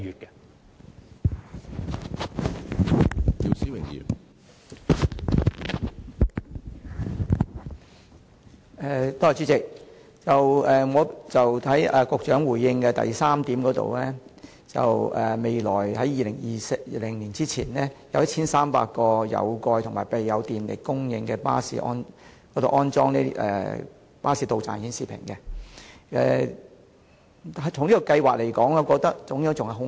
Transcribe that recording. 局長在主體答覆第三部分指出，將於2020年之前，在約1300個有蓋及備有電力供應的巴士站完成安裝實時巴士到站資訊顯示屏的工作，我認為這個安排尚有改善的空間。